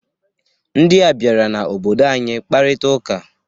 Ndịa bịara n'obodo anyị kparita ụka.